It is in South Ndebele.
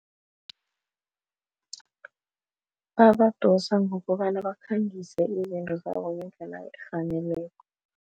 Babadosa ngokobana bakhangise izinto zabo ngendlela efaneleko.